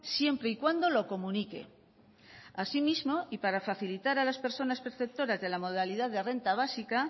siempre y cuando lo comunique asimismo y para facilitar a las personas perceptoras de la modalidad de renta básica